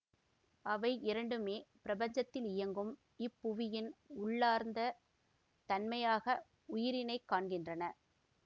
அவை இரண்டுமே பிரபஞ்சத்திலியங்கும் இப்புவியின் உள்ளார்ந்த தன்மையாக உயிரினை காண்கின்றன